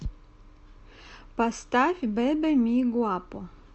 поставь бебе ми гуапо